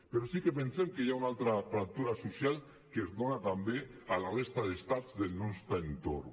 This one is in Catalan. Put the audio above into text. però sí que pensem que hi ha una altra fractura social que es dona també a la resta d’estats del nostre entorn